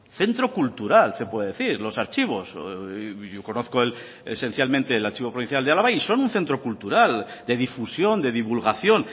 centro cultural se puede decir los archivos yo conozco esencialmente el archivo provincial de álava y son un centro cultural de difusión de divulgación